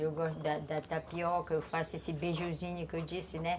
Eu gosto da da tapioca, eu faço esse beijuzinho que eu disse, né?